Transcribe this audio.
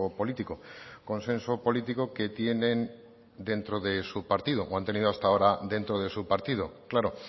político consenso político que tienen dentro de su partido o han tenido hasta ahora dentro de su partido claro